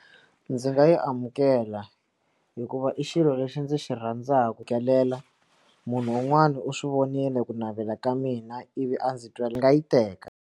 Ndzi nga yi amukela hikuva i xilo lexi ndzi xirhandzaku kelela munhu un'wana u swi vonile ku navela ka mina ivi a ndzi twa ndzi nga yi teka.